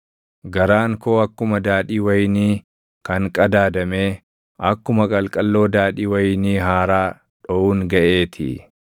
garaan koo akkuma daadhii wayinii kan qadaadamee, akkuma qalqalloo daadhii wayinii haaraa dhoʼuun gaʼeetii.